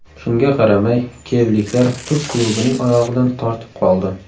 Shunga qaramay kiyevliklar turk klubining oyog‘idan tortib qoldi.